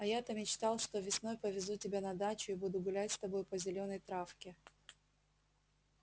а я то мечтал что весной повезу тебя на дачу и буду гулять с тобой по зелёной травке